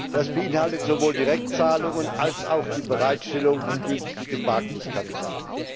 Das beinhaltet sowohl Direktzahlungen als auch die Bereitstellung von günstigem Wagniskapital.